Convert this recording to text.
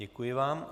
Děkuji vám.